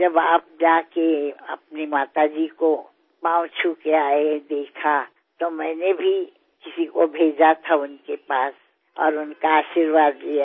जब आप जा के अपनी माता जी को पाँव छू के आये देखा तो मैंने भी किसी को भेजा था उनके पास और उनका आशर्वाद लिया